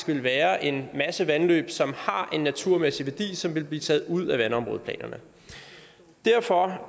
ville være en masse vandløb som har en naturmæssig værdi som ville blive taget ud af vandområdeplanerne derfor